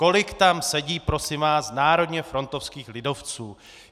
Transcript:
Kolik tam sedí, prosím vás, národně frontovských lidovců!